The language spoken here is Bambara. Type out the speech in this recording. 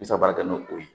N bɛ se ka baara kɛ n'o ye